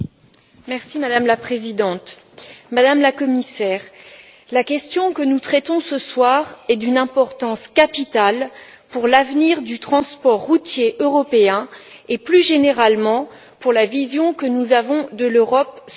Madame la Présidente, Madame la Commissaire, la question que nous traitons ce soir est d'une importance capitale pour l'avenir du transport routier européen et, plus généralement, pour la vision que nous avons de l'Europe sociale.